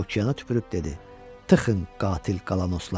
Okeana tüpürüb dedi: "Tıxın, qatil qalanoslar!